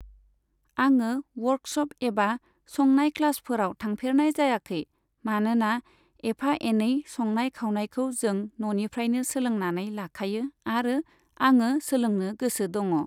आङो वर्कश'प एबा संनाय क्लासफोराव थांफेरनाय जायाखै, मानोना एफा एनै संनाय खावनायखौ जों न'निफ्रायनो सोलोंनानै लाखायो आरो आङो सोलोंनो गोसो दङ।